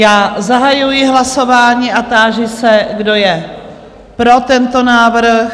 Já zahajuji hlasování a táži se, kdo je pro tento návrh?